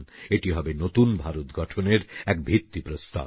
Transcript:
এটি হবে নতুন ভারত গঠনের এক ভিত্তিপ্রস্তর